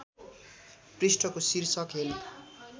पृष्ठको शीर्षक हेल्प